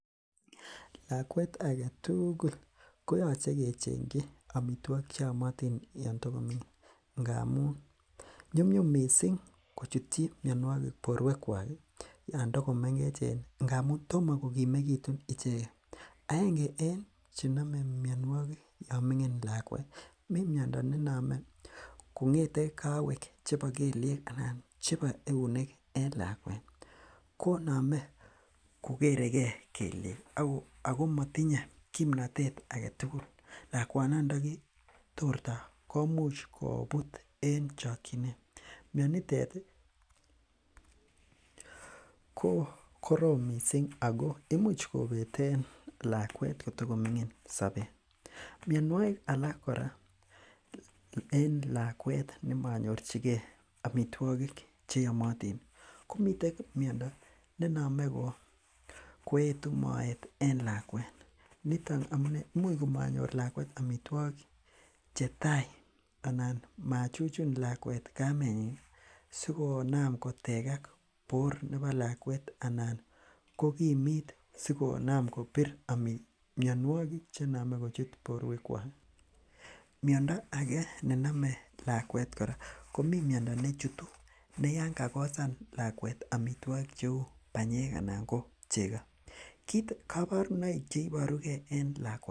Lakuet agetugul koyache kecheng'chi amituakik cheamotin, Yoon togoming'in ngamun nyumnyum missing kochutchi mianogig boruekuak ih Yoon tokomengechen en ngamuun tomokogimegitun icheket. Aenge en chename miannuagik ih Yoon ming'in lakuet ih ko , mi miando ne iname kong'ete kawek chebo kelyeek anan chebo eunek en lakuet ih, koname kogerege kelliek ako matinye kimnotet agetugul lakuanon ndagitorta komuch kobut en en chakchinet. ko korom Missing ako imuch kobeten lakuet sobet. Mianogig alak Kora en lakuet nemonyorchige amituakik cheamotin. Komiten miando neetu moet ih en lakuet niton amunee, imuch komanyor amituogik chetai anan machuchun lakuet kamenyin sikonaam kotegak bor nebo lakuet anan kokimitsikonaam kobir mianogig chename kochut borwekuag. Miando age nename lakuet ih komi miando nechutu neyoon kakosan lakuet amituogik ih kouu banyek anan ko chegokit, kabarunoik chebaruke en lakuni.